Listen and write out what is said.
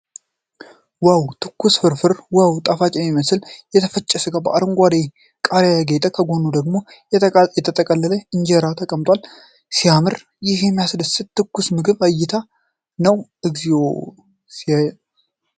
ዋው! ትኩስ ፍርፍር ዋው! ጣፋጭ የሚመስል የተፈጨ ሥጋ በአረንጓዴ ቃሪያ ያጌጠ። ከጎኑ ደግሞ የተጠቀለለ የሆነ እንጀራ ተቀምጠዋል። ሲያምር! ይህ የሚያስደስት የትኩስ ምግብ እይታ ነው። እግዚኦ ሲያጓጓ!